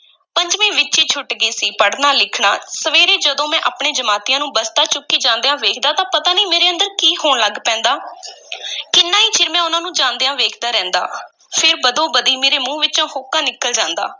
ਪੰਜਵੀਂ ਵਿੱਚ ਈ ਛੁੱਟ ਗਿਆ ਸੀ, ਪੜ੍ਹਨਾ-ਲਿਖਣਾ, ਸਵੇਰੇ ਜਦੋਂ ਮੈਂ ਆਪਣੇ ਜਮਾਤੀਆਂ ਨੂੰ ਬਸਤਾ ਚੁੱਕੀ ਜਾਂਦਿਆਂ ਵੇਖਦਾ ਤਾਂ ਪਤਾ ਨਹੀਂ ਮੇਰੇ ਅੰਦਰ ਕੀ ਹੋਣ ਲੱਗ ਪੈਂਦਾ ਕਿੰਨਾ ਈ ਚਿਰ ਮੈਂ ਉਹਨਾਂ ਨੂੰ ਜਾਂਦਿਆਂ ਵੇਖਦਾ ਰਹਿੰਦਾ ਫਿਰ ਬਦੋ-ਬਦੀ ਮੇਰੇ ਮੂੰਹ ਵਿਚੋਂ ਹਉਕਾ ਨਿਕਲ ਜਾਂਦਾ।